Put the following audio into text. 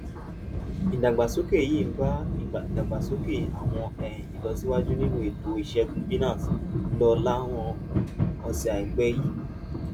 ìdàgbàsókè yìí ń bá ìlọsíwájú àwọn um ìlọsíwájú nínú ètò ìṣègùn binance lọ láwọn òsè àìpẹ yìí